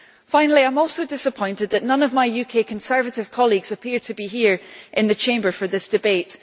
Lastly, I am also disappointed that none of my UK Conservative colleagues appear to be here in the Chamber for this debate.